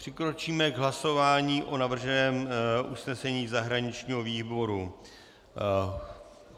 Přikročíme k hlasování o navrženém usnesení zahraničního výboru.